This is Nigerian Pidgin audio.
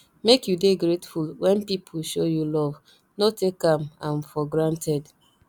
make you dey grateful when people show you love no take am am for granted